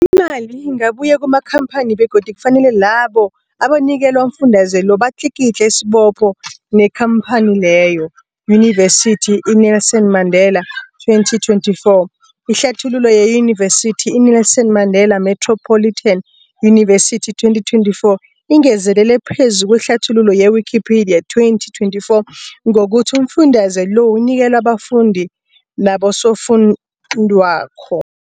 Imali ingabuyi kumakhamphani begodu kufanele labo abanikelwa umfundaze lo batlikitliki isibopho neenkhamphani leyo, Yunivesity i-Nelson Mandela 2024. Ihlathululo yeYunivesithi i-Nelson Mandela Metropolitan University, 2024, ingezelele phezu kwehlathululo ye-Wikipedia, 2024, ngokuthi umfundaze lo unikelwa abafundi nabosofundwakgho.